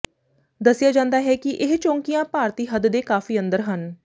ਦੱਸਿਆ ਜਾਂਦਾ ਹੈ ਕਿ ਇਹ ਚੌਂਕੀਆਂ ਭਾਰਤੀ ਹੱਦ ਦੇ ਕਾਫ਼ੀ ਅੰਦਰ ਹਨ